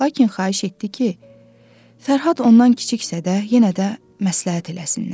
Lakin xahiş etdi ki, Fərhad ondan kiçiksə də yenə də məsləhət eləsinlər.